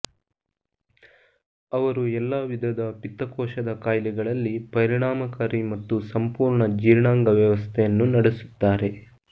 ಅವರು ಎಲ್ಲಾ ವಿಧದ ಪಿತ್ತಕೋಶದ ಕಾಯಿಲೆಗಳಲ್ಲಿ ಪರಿಣಾಮಕಾರಿ ಮತ್ತು ಸಂಪೂರ್ಣ ಜೀರ್ಣಾಂಗ ವ್ಯವಸ್ಥೆಯನ್ನು ನಡೆಸುತ್ತಾರೆ